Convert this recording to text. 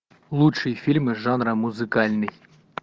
лучшие фильмы жанра музыкальный